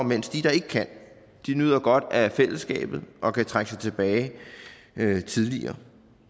mens de der ikke kan nyder godt af fællesskabet og kan trække sig tilbage tidligere